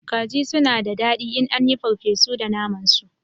Kaji suna da dadi in an yi papesu da naman su